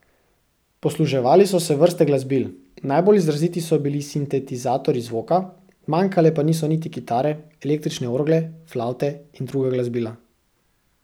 Posluževali so se vrste glasbil, najbolj izraziti so bili sintetizatorji zvoka, manjkale pa niso niti kitare, električne orgle, flavte in druga glasbila.